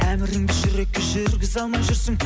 әміріңді жүрекке жүргізе алмай жүрсің